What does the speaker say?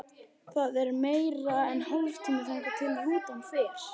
Það er meira en hálftími þangað til rútan fer.